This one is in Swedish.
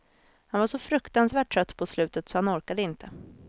Han var så fruktansvärt trött på slutet, så han orkade inte.